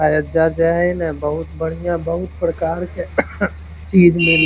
अयोध्या जे हई ना बहुत बढ़िया बहुत प्रकार के चीज मिल --